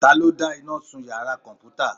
Talọ́ dá iná sún iyàrá kọmputa?